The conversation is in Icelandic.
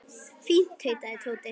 Fínt tautaði Tóti.